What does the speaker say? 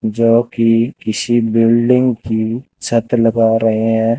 जोकि किसी बिल्डिंग की छत लगा रहे है।